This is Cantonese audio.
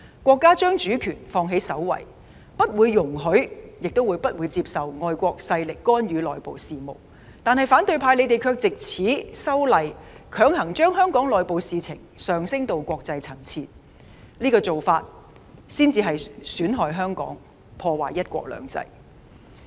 國家將主權放在首位，不容許亦不接受外國勢力干預內部事務，但反對派卻藉修例強行將香港內部事務提升到國際層次，這才是損害香港、破壞"一國兩制"的做法。